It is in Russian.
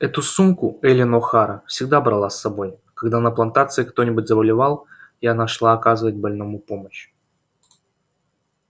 эту сумку эллин охара всегда брала с собой когда на плантации кто-нибудь заболевал и она шла оказать больному помощь